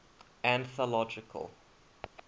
anthological